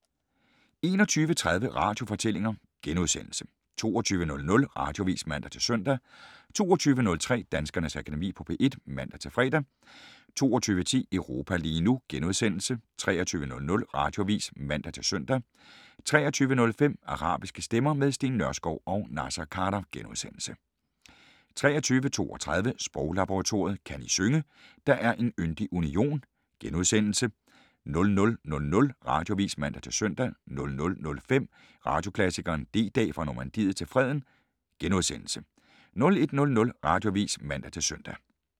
21:30: Radiofortællinger * 22:00: Radioavis (man-søn) 22:03: Danskernes Akademi på P1 (man-fre) 22:10: Europa lige nu * 23:00: Radioavis (man-søn) 23:05: Arabiske stemmer - med Steen Nørskov og Naser Khader * 23:32: Sproglaboratoriet: Kan I synge: Der er en yndig union? * 00:00: Radioavis (man-søn) 00:05: Radioklassikeren: D-Dag, fra Normandiet til Freden * 01:00: Radioavis (man-søn)